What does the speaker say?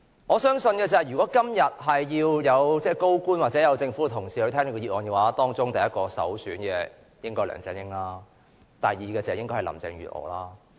我相信如果今天要有高官或政府同事到來聽這項議案的話，當中首選的人應是梁振英，第二位便應是林鄭月娥。